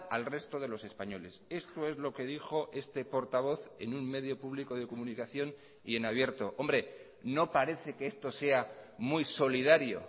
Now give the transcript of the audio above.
al resto de los españoles esto es lo que dijo este portavoz en un medio público de comunicación y en abierto hombre no parece que esto sea muy solidario